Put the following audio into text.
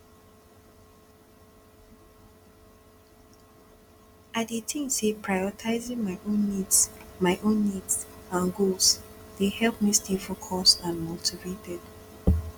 i dey think say prioritizing my own needs my own needs and goals dey help me stay focused and motivated